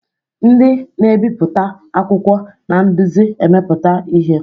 Ndị na-ebipụta akwụkwọ na-eduzi mmepụta ihe.